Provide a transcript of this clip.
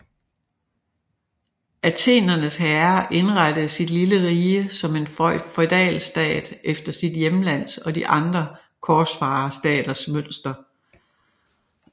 Athenernes herre indrettede sit lille rige som en feudalstat efter sit hjemlands og de andre korsfarerstaters mønster